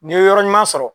N'i ye yɔrɔ ɲuman sɔrɔ